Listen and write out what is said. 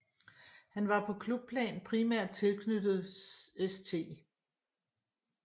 Han var på klubplan primært tilknyttet St